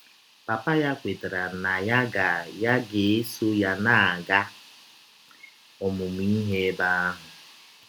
Papa ya kwetara na ya ga ya ga - esọ ya na - aga ọmụmụ ihe ebe ahụ.